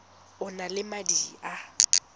o na le madi a